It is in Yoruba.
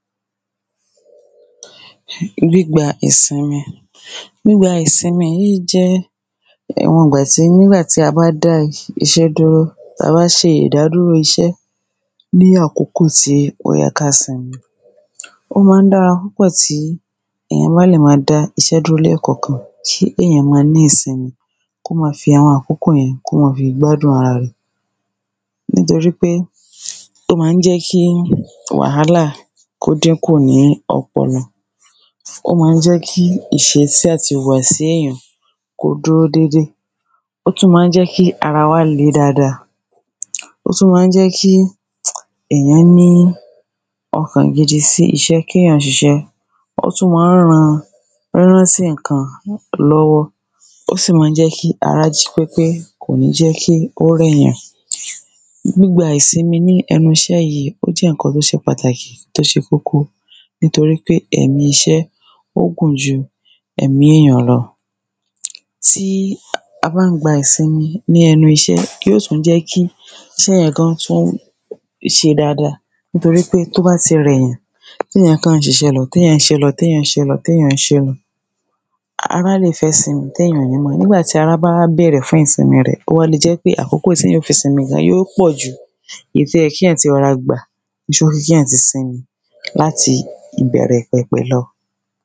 gbígba ìsinmi. gbígba ìsinmi yíì i jẹ́ àwọn ìgbàtí, nígbàtí a bá dá iṣẹ́ dúró, tába ṣe ìdádúró iṣẹ́ ní àkókò tí ó yẹ ká simi. ó ma ń dáada púpọ̀ tí èyán bá lè máa dá iṣẹ́ dúró lẹ́ẹ̀kànkan tí ẹ̀yán ma ní ìsinmi, kó ma fi àwọn àkókò yẹn, kó ma fi gbádùn ara rẹ̀. nítorí pé ó ma ń jẹ́ kí wàhálà kó dínkù ní ọpọlọ, ó ma ń jẹ́ kí ìṣesí àti ìwàsí èyàn kó dúró dédé. ó tún ma ń jẹ́ kí ara wá le dáada, ó tún ma ń jẹ́ kí èyán ní ọkàn gidi sí iṣẹ́, kéyàn ṣiṣẹ́. ó tún ma ń ran rírántí ǹkan lọ́wọ́, ó sì mán jẹ́ kí ará jí pépé, kòní jẹ́ kí ó rẹ̀yàn. gbígba ìsinmi ní ẹnu iṣẹ́ yíi, ó jẹ́ ǹkan tó ṣe pàtàkì tó ṣe kókó nítorí pé ẹ̀mí iṣẹ́ ó gùn ju ẹ̀mí èyàn lọ. tí a bán gba ìsinmi ní ẹnu iṣẹ́, yíò tún jẹ́ kí iṣẹ́ yàn gán tún ṣe dada, nítorí pé tó bá ti rẹ̀yàn téyàn kàn ń ṣiṣẹ́ lọ, téyàn ṣé lọ, téyàn ṣé lọ, téyàn ṣé lọ, ará lè fẹ́ ìsinmi téyàn ò ní mọ̀, nígbàtí ará báwá bèrè fún ìsinmi rẹ̀, ó wa le jẹ́ pé àkókò téyàn ó fi simi gan yíò pọ̀ jù èyí tó yẹ́ kíyàn ti rọra gbà kíyàn ti simi láti ìbẹ̀rẹ̀pẹ̀pẹ̀.